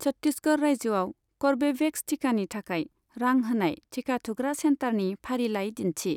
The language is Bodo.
छट्टिशगड़ रायजोआव कर्वेभेक्स थिखानि थाखाय रां होनाय थिखा थुग्रा सेन्टारनि फारिलाइ दिन्थि।